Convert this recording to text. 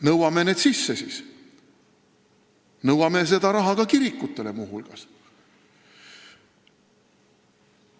Nõuame need kahjud siis sisse ja nõuame seda raha muu hulgas kirikutele.